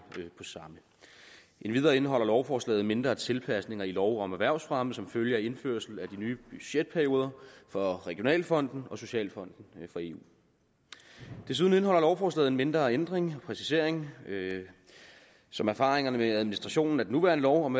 på samme endvidere indeholder lovforslaget mindre tilpasninger i lov om erhvervsfremme som følge af indførelsen af de nye budgetperioder for regionalfonden og socialfonden i eu desuden indeholder lovforslaget en mindre ændring og præcisering som erfaringerne med administrationen af den nuværende lov om